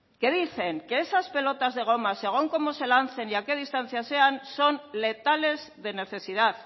que dicen que esas pelotas de goma según cómo se lancen y a qué distancia sea son letales de necesidad